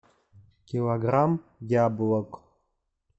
килограмм яблок